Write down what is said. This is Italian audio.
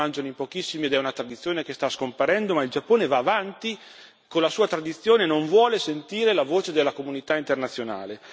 Vuol dire che la mangiano in pochissimi ed è una tradizione che sta scomparendo, ma il Giappone va avanti con la sua tradizione, non vuole sentire la voce della comunità internazionale.